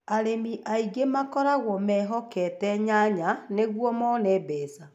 Arĩmi aingĩ makoragwo mehokete nyanya nĩguo mone mbeca.